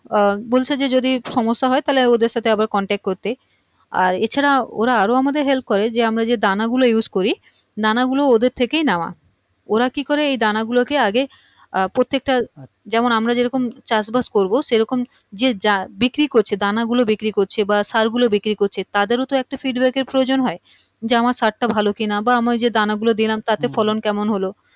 যেমন আমরা যেরকম চাষবাস করবো সেরকম যে যার বিক্রি করছে দানাগুলো বিক্রি করছে বা সারগুলো বিক্রি করছে তাদের তো একটা feedback এর প্রয়োজন হয় যে আমার সারটা ভালো কি না বা আমি যে দানাগুলো দিলাম তাতে ফলন কেমন হলো